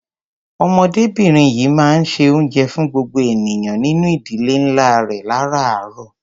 Ọmọdébìnrin yìí máa ń se oúnjẹ fún gbogbo ènìyàn nínú ìdílé ńlá rẹ̀ láráàárọ̀.